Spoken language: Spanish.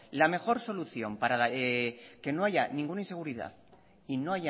la mejor solución para que no haya ninguna inseguridad y no